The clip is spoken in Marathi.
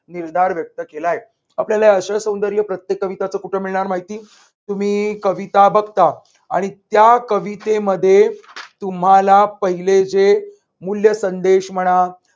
निर्धार व्यक्त केला आहे. आपल्याला ही आशयसौंदर्य प्रत्येक कविताचा कुठे मिळणार माहितीये तुम्ही कविता बघता आणि त्या कवितेमध्ये तुम्हाला पहिले जे मूल्य संदेश म्हणा